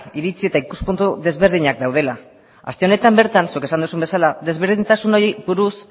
iritzi eta ikuspuntu ezberdinak daudela aste honetan bertan zuk esan duzun bezala ezberdintasuna horiei buruz